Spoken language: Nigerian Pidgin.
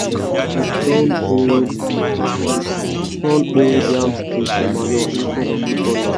i dey turn old turn old yam stick to manure instead of to burn am.